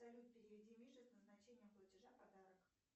салют переведи мише с назначением платежа подарок